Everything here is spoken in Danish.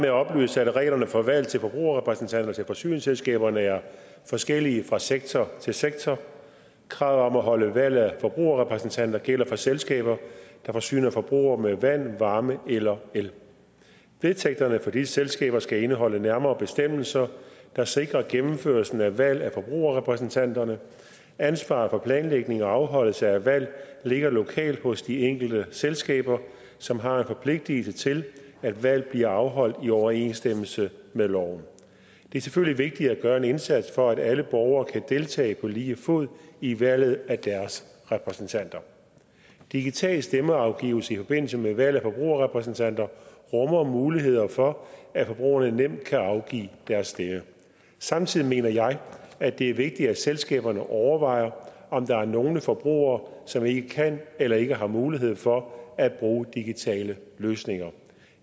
at oplyse at reglerne for valg af forbrugerrepræsentanter til forsyningsselskaberne er forskellige fra sektor til sektor kravet om at holde valg af forbrugerrepræsentanter gælder for selskaber der forsyner forbrugere med vand varme eller el vedtægterne for disse selskaber skal indeholde nærmere bestemmelser der sikrer gennemførelse af valg af forbrugerrepræsentanter ansvaret for planlægning og afholdelse af valg ligger lokalt hos de enkelte selskaber som har en forpligtelse til at valg bliver afholdt i overensstemmelse med loven det er selvfølgelig vigtigt at gøre en indsats for at alle borgere kan deltage på lige fod i valget af deres repræsentanter digital stemmeafgivelse i forbindelse med valg af forbrugerrepræsentanter rummer muligheder for at forbrugerne nemt kan afgive deres stemme samtidig mener jeg at det er vigtigt at selskaberne overvejer om der er nogle forbrugere som ikke kan eller ikke har mulighed for at bruge digitale løsninger